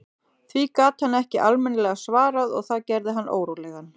Því gat hann ekki almennilega svarað og það gerði hann órólegan.